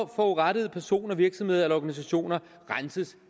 forurettede personer virksomheder eller organisationer renses